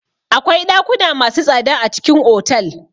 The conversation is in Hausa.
Akwai ɗakuna masu tsada a cikin otal.